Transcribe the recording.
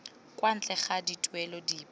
kwa ntle ga dituelo dipe